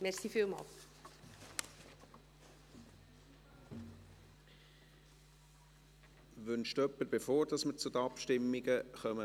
Wünscht noch jemand das Wort, bevor wir zu den Abstimmungen kommen?